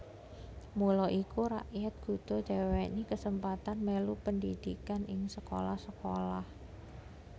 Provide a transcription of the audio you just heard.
Mula iku rakyat kudu diwènèhi kasempatan mèlu pendhidhikan ing sekolah sekolah